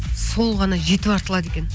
сол ғана жетіп артылады екен